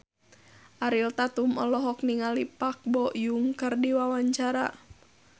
Ariel Tatum olohok ningali Park Bo Yung keur diwawancara